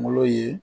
Kungolo ye